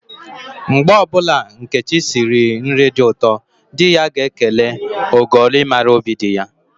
Mgbe ọbụla Nkechi siri nri dị ụtọ, di ya ga-ekele, "ogoli mara óbì di ya"